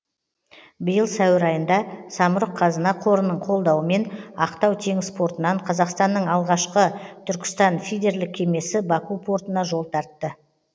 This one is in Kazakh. биыл сәуір айында самұрық қазына қорының қолдауымен ақтау теңіз портынан қазақстанның алғашқы түркістан фидерлік кемесі баку портына жол тартты